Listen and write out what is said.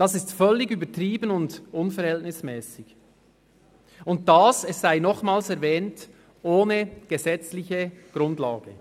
Dies ist völlig übertrieben und unverhältnismässig, und – dies sei zusätzlich erwähnt – ohne gesetzliche Grundlage.